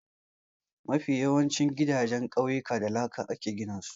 Mafi yawancin gidajen ƙauyuka da laka aka gina su.